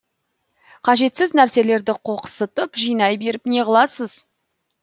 қажетсіз нәрселерді қоқсытып жинай беріп не қыласыз